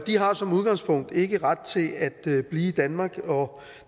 har som udgangspunkt ikke ret til at blive i danmark og